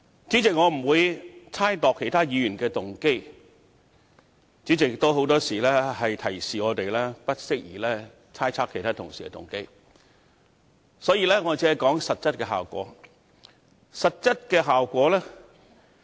主席，我不會猜測其他議員的動機，主席也常提醒我們不宜猜測其他同事的動機，所以我只會說實質效果。